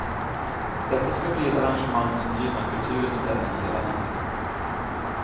Detta ska bli ett arrangemang som gynnar kulturens ställning i hela landet.